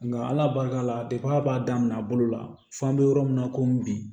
Nka ala barika la depi a b'a daminɛ a bolo la fɔ an bɛ yɔrɔ min na ko bi